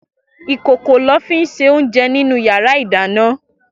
Ikókó lò fi n sé óunjè ninú iyàrá idàná